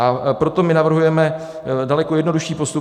A proto my navrhujeme daleko jednodušší postup.